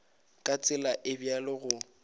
ka tsela e bjalo go